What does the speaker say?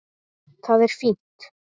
Það er fínt.